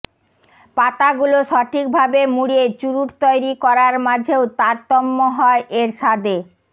পাতাগুলো সঠিকভাবে মুড়িয়ে চুরুট তৈরি করার মাঝেও তারতম্য হয় এর স্বাদে